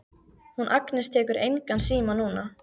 Hún Agnes tekur engan síma núna.